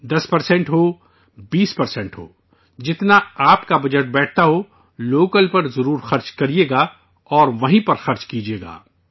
10 فیصد ہو، 20 فیصد ہو، جتنا آپ کا بجٹ بیٹھتا ہو، لوکل پر ضرور خرچ کیجئے گا اور وہیں پر خرچ کیجئے گا